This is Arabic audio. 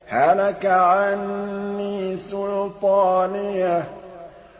هَلَكَ عَنِّي سُلْطَانِيَهْ